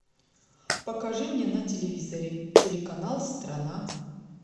покажи мне на телевизоре телеканал страна